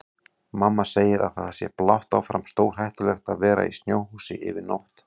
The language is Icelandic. Mamma segir að það sé blátt áfram stórhættulegt að vera í snjóhúsi yfir nótt.